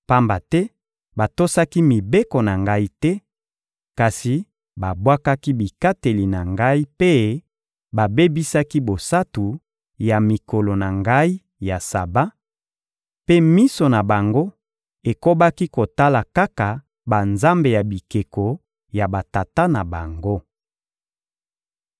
pamba te batosaki mibeko na Ngai te, kasi babwakaki bikateli na Ngai mpe babebisaki bosantu ya mikolo na Ngai ya Saba, mpe miso na bango ekobaki kotala kaka banzambe ya bikeko ya batata na bango.